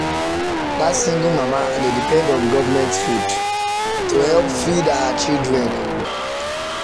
that single mama dey depend on government food help to feed her um children. um